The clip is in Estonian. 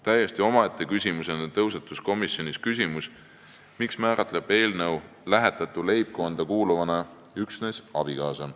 Täiesti omaette küsimusena tõusetus komisjonis küsimus, miks määratleb eelnõu lähetatu leibkonda kuuluvana üksnes abikaasa.